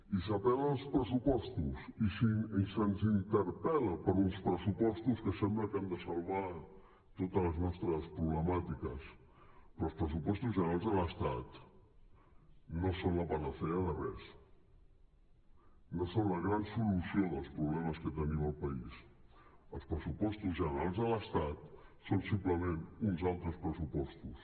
i s’apel·la als pressupostos i se’ns interpel·la per uns pressupostos que sembla que han de salvar totes les nostres problemàtiques però els pressupostos generals de l’estat no són la panacea de res no són la gran solució dels problemes que tenim al país els pressupostos generals de l’estat són simplement uns altres pressupostos